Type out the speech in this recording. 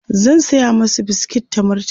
zan saya masu biskit ta murtala